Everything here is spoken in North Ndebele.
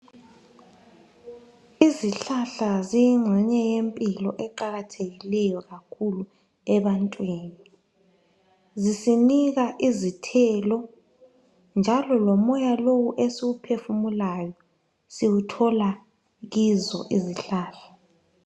Izihlahla ziyingxenye yempilo eqakathekileyo kakhulu ebantwini. Zisinika izithelo njalo lomoya lowu esiwuphefumulayo siwuththola kizo izihlahla.